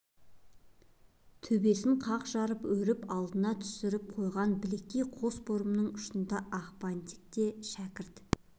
төбесін қақ жара өріп алдына түсіріп қойған білектей қос бұрымының ұшындағы ақ бантик те шәкірт